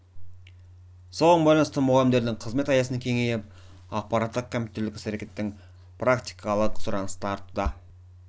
соған байланысты мұғалімдердің қызмет аясын кеңейіп ақпарттық компьютерлік іс-әрекетінің практикалық сұранысы артуда